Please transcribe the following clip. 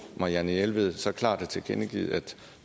marianne jelved så klart har tilkendegivet at